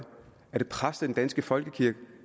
er det præster i den danske folkekirke